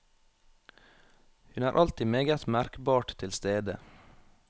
Hun er alltid meget merkbart til stede.